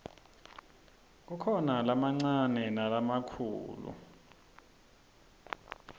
kukhona lamancane nalamikhulu